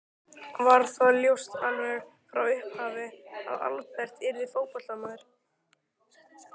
Var það ljóst alveg frá upphafi að Albert yrði fótboltamaður?